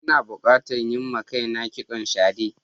Ina bukatan yin ma kaina kitson shade.